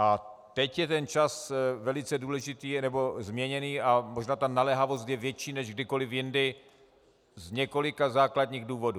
A teď je ten čas velice důležitý, nebo změněný, a možná ta naléhavost je větší než kdykoliv jindy, z několika základních důvodů.